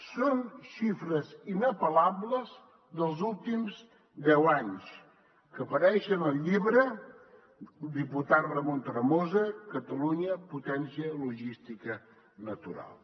són xifres inapel·lables dels últims deu anys que apareixen en el llibre del diputat ramon tremosa catalunya potència logística natural